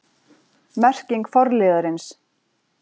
Merking forliðarins